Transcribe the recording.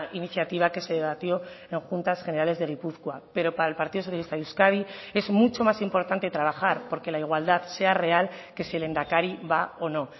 iniciativa que se debatió en juntas generales de gipuzkoa pero para el partido socialista de euskadi es mucho más importante trabajar porque la igualdad sea real que si el lehendakari va o no